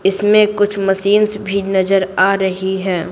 इसमें कुछ मशीन भी नजर आ रही है।